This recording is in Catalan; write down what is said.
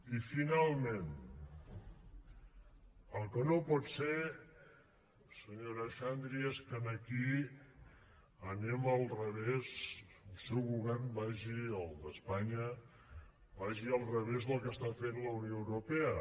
i finalment el que no pot ser senyora xandri és que aquí anem al revés que el seu govern vagi el d’espanya al revés del que està fent la unió europea